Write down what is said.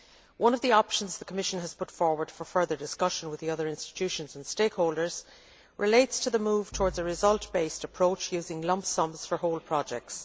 One of the options the Commission has put forward for further discussion with the other institutions and stakeholders relates to the move towards a results based approach using lump sums for whole projects.